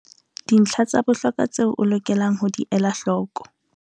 Dintlha tsa bohlokwa tseo o lokelang ho di ela hloko